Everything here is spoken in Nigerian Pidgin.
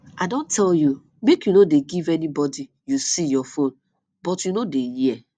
i don tell you make you no dey give anybody you see your phone but you no dey hear